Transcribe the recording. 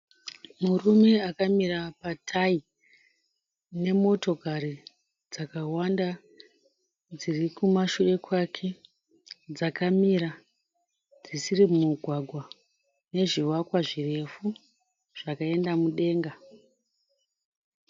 Murume akamira patayi nemotokari dzakawanda dziri kumashure kwake dzakamira dzisiri mumugwagwa nezvivakwa zvirefu zvakaenda mudenga.